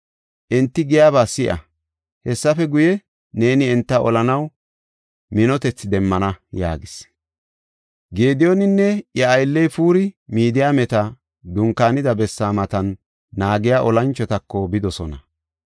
Enti giyaba si7a. Hessafe guye, neeni enta olanaw minotethi demmana” yaagis. Gediyooninne iya aylley Puuri, Midiyaameti dunkaanida bessaa matan naagiya olanchotako bidosona.